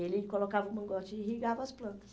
Ele colocava o mangote e irrigava as plantas.